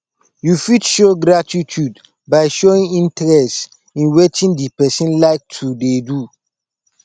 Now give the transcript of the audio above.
you fit show gratitude by showing interest in wetin di person like to dey do